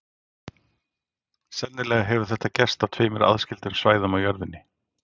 Sennilega hefur þetta gerst á tveimur aðskildum svæðum á jörðinni.